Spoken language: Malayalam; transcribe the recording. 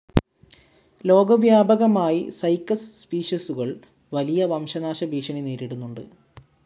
ലോകവ്യാപകമായി സൈക്കസ് സ്പീഷീസുകൾ വലിയ വംശനാശഭീഷണി നേരിടുന്നുണ്ട്.